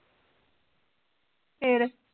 ਫਿਰ